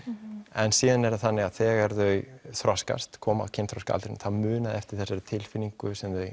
en síðan er það þannig að þegar þau þroskast koma á kynþroska aldurinn þá muna þau eftir þessari tilfinningu sem þau